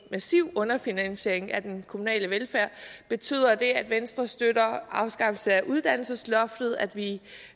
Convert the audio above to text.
massiv underfinansiering af den kommunale velfærd betyder det at venstre støtter afskaffelsen af uddannelsesloftet at vi